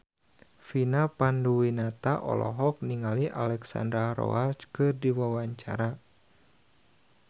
Vina Panduwinata olohok ningali Alexandra Roach keur diwawancara